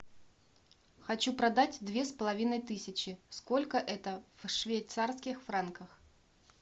хочу продать две с половиной тысячи сколько это в швейцарских франках